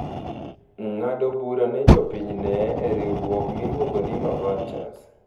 ng’ado bura ne jopinyne e riwruok miluongo ni maVultures.